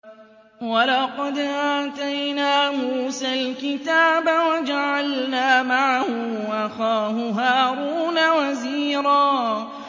وَلَقَدْ آتَيْنَا مُوسَى الْكِتَابَ وَجَعَلْنَا مَعَهُ أَخَاهُ هَارُونَ وَزِيرًا